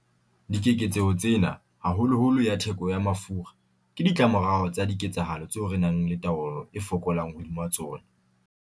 Dikeketseho tsena, haholoholo ya theko ya mafura, ke ditlamorao tsa diketsahalo tseo re nang le taolo e fokolang hodima tsona.